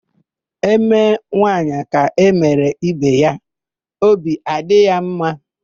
E mee nwaanyị ka e mere ibe ya; obi adị ya ḿmā.